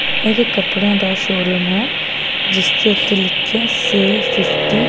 ਇਹ ਇੱਕ ਕਪੜਿਆਂ ਦੇ ਸ਼ੋਰੂਮ ਹੈ ਜਿਸਦੇ ਉੱਤੇ ਲਿਖਿਆ ਸੇਲ ਫਿਫਟੀ --